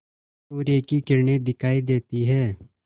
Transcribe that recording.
सूर्य की किरणें दिखाई देती हैं